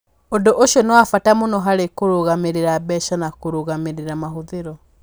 Ũndũ ũcio nĩ wa bata mũno harĩ kũrũgamĩrĩra mbeca na kũrũgamĩrĩra mahũthĩro.